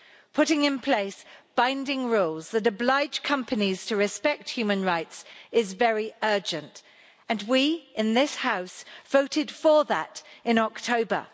Putting in place binding rules that oblige companies to respect human rights is very urgent, and we in this House voted for that in October.